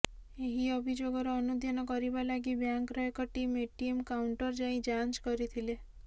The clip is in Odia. ଏହି ଅଭିଯୋଗର ଅନୁଧ୍ୟାନ କରିବା ଲାଗି ବ୍ୟାଙ୍କର ଏକ ଟିମ ଏଟିଏମ କାଉଁଣ୍ଟର ଯାଇଁ ଯାଞ୍ଚ କରିଥିଲେ